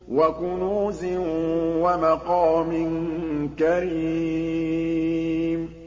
وَكُنُوزٍ وَمَقَامٍ كَرِيمٍ